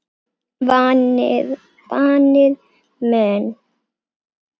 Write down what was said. Vanir menn.